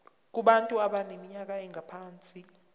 kubantu abaneminyaka engaphansi